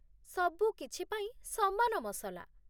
ସବୁକିଛି ପାଇଁ ସମାନ ମସଲା।